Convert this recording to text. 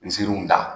Nziriw da